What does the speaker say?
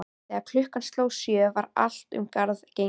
Þegar klukkan sló sjö var allt um garð gengið.